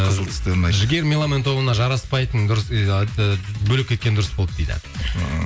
қызыл түстер ұнайды жігер меломан тобына жараспайтын дұрыс бөлек кеткені дұрыс болды дейді